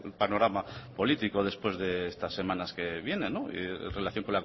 panorama político después de estas semanas que vienen en relación